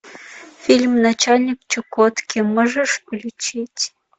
фильм начальник чукотки можешь включить